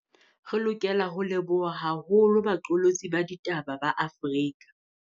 Re lokela ho leboha haholo baqolotsi ba ditaba ba Afrika.